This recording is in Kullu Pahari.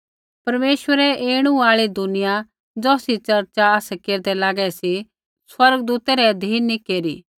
परमेश्वरै ऐणु आल़ा दुनिया ज़ौसरी चर्चा आसै केरदै लागै सी स्वर्गदूतै रै अधीन नी केरू